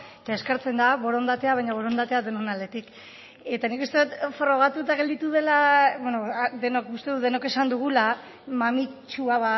eta eskertzen da borondatea baina borondatea denon aldetik eta nik uste dut frogatuta gelditu dela denok uste dut denok esan dugula mamitsua